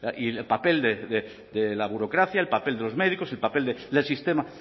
y el papel de la burocracia el papel de los médicos el papel del sistema